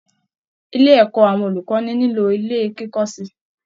Ilé ẹ̀kọ́ àwọn olùkọ́ni nílò ilé kíkọ́ sí i